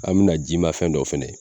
An mina ji ma fɛn dɔ fɛnɛ ye